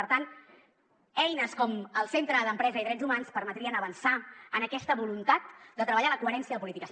per tant eines com el centre d’empresa i drets humans permetrien avançar en aquesta voluntat de treballar la coherència de polítiques